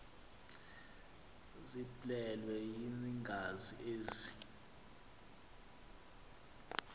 ziblelwe yingazi ezi